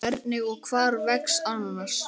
Hvernig og hvar vex ananas?